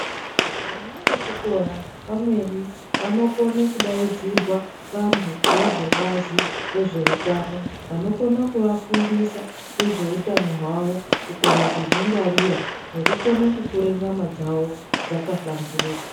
Vana ve chikora pamweni vano kone kudaidzirwa vantu vezve bazi re zveutano vano kona ku vafundisa nge zveutano hwavo kukone kuzvi ngwarira neku kone kukura nyama dzavo dzaka hlamburuka.